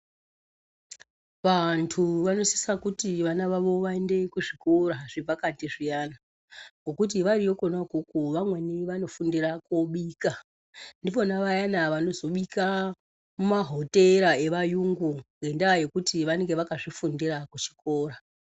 Vantu vanosisa kuti vana vavo vaende kuzvikora zvepakati zviyana, kokuti variyokona kokuku vamweni vanofundira kubika ,ndipona vayana vanozobika mumahotera evayungu ngendaa yekuti vanenge vakazvifundira kuzvikora.